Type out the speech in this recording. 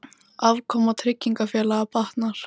Afkoma tryggingafélaga batnar